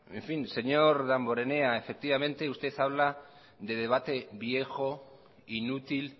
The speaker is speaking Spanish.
señor damborenea usted habla de debate viejo inútil